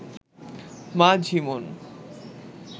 মা ঝিমোন